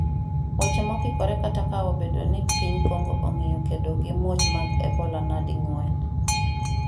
weche mokikore kata ka obedo ni piny Kongo ong'iyo kedogi muoch mag ebola nadi ng'wen